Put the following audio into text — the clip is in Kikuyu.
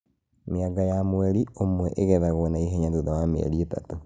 Mĩanga ya mweri ũmwe ĩgethagwo na ihenya thutha wa mĩeri ĩtatũ